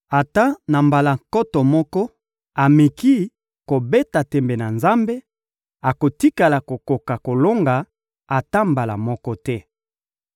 Ata, na mbala nkoto moko, ameki kobeta tembe na Nzambe, akotikala kokoka kolonga ata mbala moko te.